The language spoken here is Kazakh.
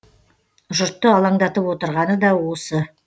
жұртты алаңдатып отырғаны да осы